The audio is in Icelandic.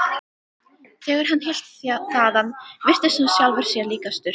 Þegar hann hélt þaðan virtist hann sjálfum sér líkastur.